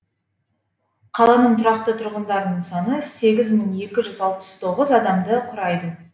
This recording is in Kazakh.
қаланың тұрақты тұрғындарының саны сегіз мың екі жүз алпыс тоғыз адамды құрайды